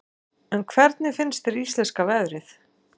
En hvernig finnst þér íslenska veðrið?